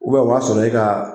Ubɛ o b'a sɔrɔ e ka